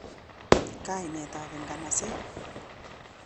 kainet ab inganaset.